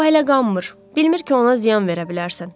O hələ qanmır, bilmir ki, ona ziyan verə bilərsən.